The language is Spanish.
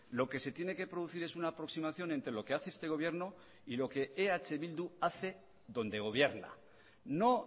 lo que se tiene que producir es una aproximación entre lo que hace este gobierno y lo que eh bildu hace donde gobierna no